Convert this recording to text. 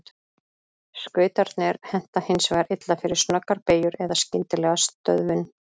Skautarnir henta hins vegar illa fyrir snöggar beygjur eða skyndilega stöðvun.